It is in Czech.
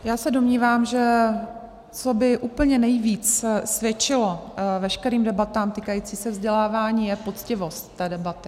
Já se domnívám, že co by úplně nejvíc svědčilo veškerým debatám týkajícím se vzdělávání je poctivost té debaty.